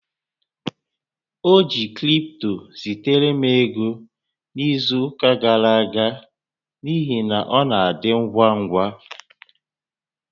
O ji cripto zitere m ego n'izu ụka gara aga n'ihi na ọ na-adị ngwa ngwa